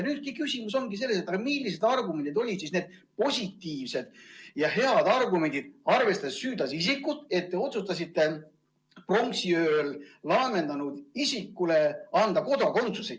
Küsimus ongi selles, millised olid need head positiivsed argumendid, arvestades süüdlase isikut, mille põhjal te otsustasite pronksiööl laamendanud isikule anda kodakondsuse.